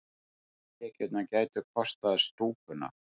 Tekjurnar gætu kostað stúkuna